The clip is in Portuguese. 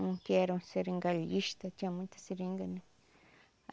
Um que era um seringalista, tinha muita seringa, né?